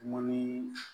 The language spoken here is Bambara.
Mɔni